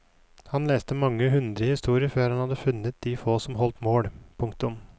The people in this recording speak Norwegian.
Han leste mange hundre historier før han hadde funnet de få som holdt mål. punktum